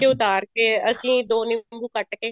ਉਤਾਰ ਕੇ ਅਸੀਂ ਦੋ ਨਿੰਬੂ ਕੱਟ ਕੇ